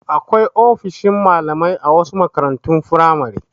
Akwai ofishin malamai a wasu makarantun firamare.